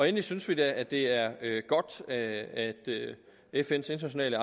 endelig synes vi da det er godt at fns internationale